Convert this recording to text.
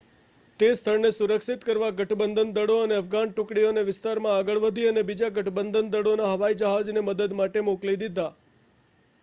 તે સ્થળને સુરક્ષિત કરવા ગઠબંધન દળો અને અફઘાન ટુકડીઓ તે વિસ્તારમાં આગળ વધી અને બીજા ગઠબંધન દળોના હવાઈજહાજને મદદ માટે મોકલી દીધા